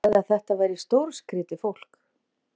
Hann sagði að þetta væri stórskrýtið fólk.